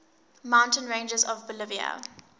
mountain ranges of bolivia